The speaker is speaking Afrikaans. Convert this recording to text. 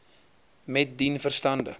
met dien verstande